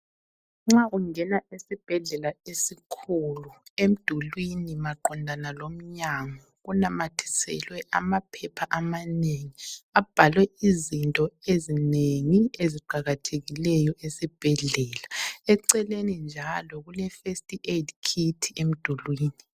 Nxa ungena esibhedlela esikhulu emdulwini maqondana lomnyango, kunamathiselwe amaphepha amanengi abhalwe izinto ezinengi esiqakathekileyo esibhedlela. Eceleni njalo kule first aid kit emdulini.